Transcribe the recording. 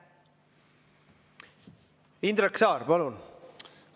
Indrek Saar, palun!